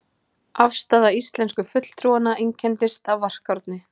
Afstaða íslensku fulltrúanna einkenndist af varkárni.